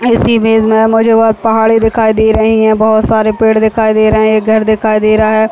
और इसी बीच में मुझे बहोत पहाड़ी दिखाई दे रही है बहोत सारे पेड़ दिखाई दे रहे है एक घर दिखाई दे रहा है।